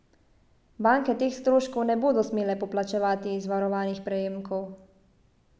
Banke teh stroškov ne bodo smele poplačevati iz varovanih prejemkov.